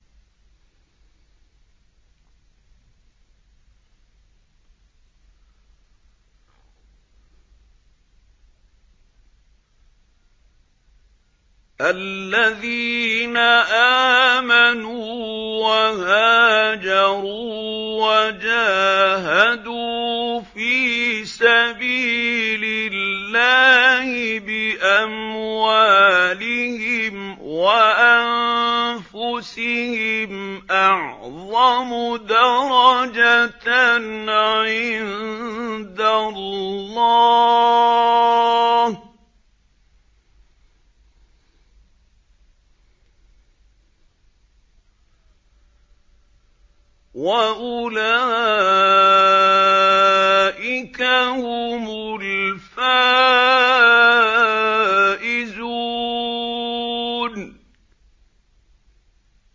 الَّذِينَ آمَنُوا وَهَاجَرُوا وَجَاهَدُوا فِي سَبِيلِ اللَّهِ بِأَمْوَالِهِمْ وَأَنفُسِهِمْ أَعْظَمُ دَرَجَةً عِندَ اللَّهِ ۚ وَأُولَٰئِكَ هُمُ الْفَائِزُونَ